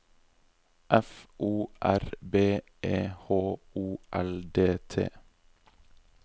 F O R B E H O L D T